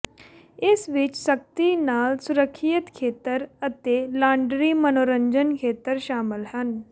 ਇਸ ਵਿੱਚ ਸਖਤੀ ਨਾਲ ਸੁਰੱਖਿਅਤ ਖੇਤਰ ਅਤੇ ਲਾਂਡਰੀ ਮਨੋਰੰਜਨ ਖੇਤਰ ਸ਼ਾਮਲ ਹਨ